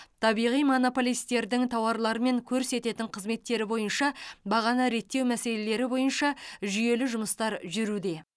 табиғи монополистердің тауарлары мен көрсететін қызметтері бойынша бағаны реттеу мәселелері бойынша жүйелі жұмыстар жүруде